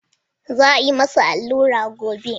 Za a yi masa alluran gobe.